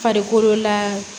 Farikolo la